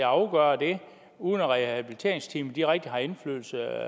afgøre det uden at rehabiliteringsteamet rigtig har indflydelse